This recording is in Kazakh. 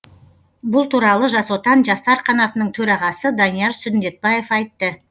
бұл туралы жас отан жастар қанатының төрағасы данияр сүндетбаев айтты